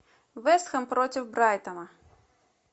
вест хэм против брайтона